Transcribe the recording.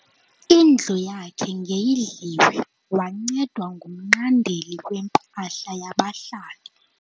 Indlu yakhe ngeyidliwe wancedwa ngumnqandeli wempahla yabahlali.